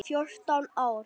Fjórtán ár!